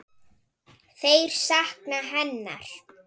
Þeir sakna hennar.